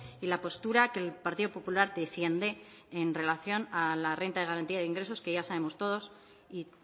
y la postura que el partido popular defiende en relación a la renta de garantía de ingresos que ya sabemos todos y